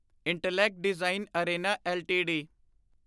intellect design arena LTD